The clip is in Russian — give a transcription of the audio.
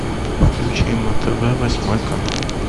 включи на тв восьмой канал